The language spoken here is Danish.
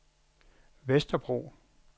Vesterbro